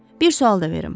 Bir sual da verim.